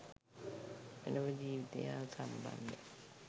මෙලොව ජීවිතය හා සම්බන්ධ